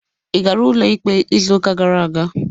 Ị gara ụlọikpe izuụka gara aga?